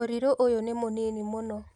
ũrĩrĩ ũyũ nĩ mũnini mũno